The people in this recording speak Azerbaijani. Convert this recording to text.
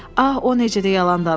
Ax o necə də yalan danışır!